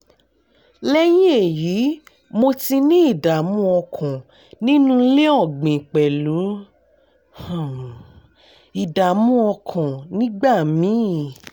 lẹ́yìn èyí mo ti ní ìdààmú ọkàn nínú ilé ọ̀gbìn pẹ̀lú um ìdààmú ọkàn nígbà míì